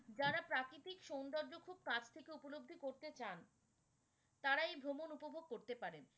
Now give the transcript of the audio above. যারা প্রাকৃতিক সুন্দর্য খুব কাছ থেকে উপলব্ধি করতে চান তারা এই ভ্রমণ উপভোগ করতে পারেন।